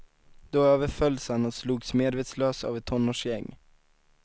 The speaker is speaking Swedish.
Då överfölls han och slogs medvetslös av ett tonårsgäng.